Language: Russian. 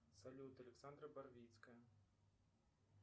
салют александра барвицкая